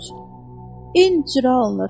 Corc, incirə alınır.